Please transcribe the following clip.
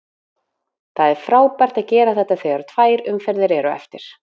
Það er frábært að gera þetta þegar tvær umferðir eru eftir.